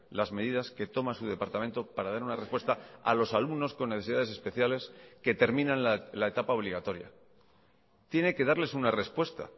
las medidas que toma su departamento para dar una respuesta a los alumnos con necesidades especiales que terminan la etapa obligatoria tiene que darles una respuesta